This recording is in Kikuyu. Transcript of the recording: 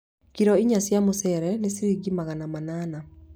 Kiro inya cia mũcere nĩ ciringi magana manana